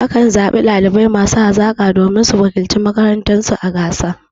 A kan zaɓi ɗalibai masu hazaƙa domin su wakilci makarantar su a gasa.